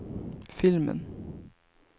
filmen